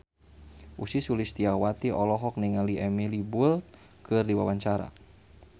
Ussy Sulistyawati olohok ningali Emily Blunt keur diwawancara